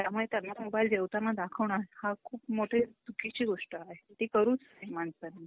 त्यामुळे त्यांना मोबाइलला जेवताना दाखवणं हा खूप मोठी चुकीची गोष्ट आहे ती करूच नाही माणसाने.